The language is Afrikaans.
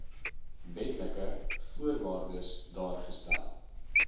wetlike voorwaardes daargestel